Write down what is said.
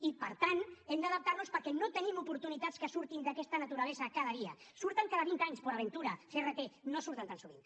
i per tant hem d’adaptar nos hi perquè no tenim oportunitats que surtin d’aquesta naturalesa cada dia surten cada vint anys port aventura crt no surten tan sovint